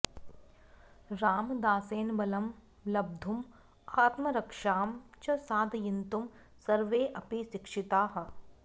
रामदासेन बलं लब्धुम् आत्मरक्षां च साधयितुं सर्वेऽपि शिक्षिताः